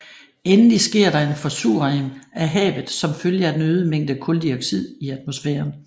Endelig sker der en forsuring af havet som følge af den øgede mængde kuldioxid i atmosfæren